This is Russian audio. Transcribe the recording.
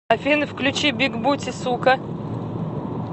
афина включи биг бути сука